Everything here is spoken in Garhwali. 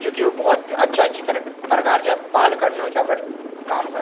जू की वो बहौत अच्छा-अच्छी तरीक परकार से बाल कटनु च अपड काम कन --